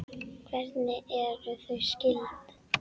Hvernig eru þau skyld?